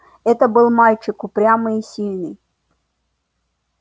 это был мальчик упрямый и сильный